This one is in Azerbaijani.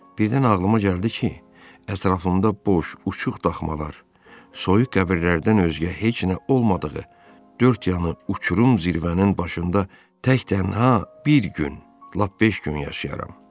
Birdən ağlıma gəldi ki, ətrafımda boş, uçuq daxmalar, soyuq qəbirlərdən özgə heç nə olmadığı, dörd yanı uçurum zirvənin başında tək tənha bir gün, lap beş gün yaşayaram.